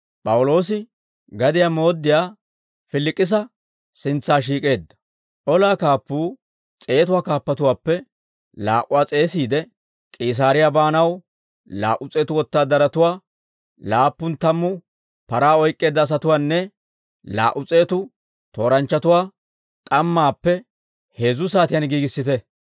Olaa kaappuu s'eetatuwaa kaappatuwaappe laa"uwaa s'eesiide, «K'iisaariyaa baanaw, laa"u s'eetu wotaadaratuwaa, laappun tammu paraa oyk'k'eedda asatuwaanne laa"u s'eetu tooranchchatuwaa k'ammaappe heezzu saatiyaan giigissite;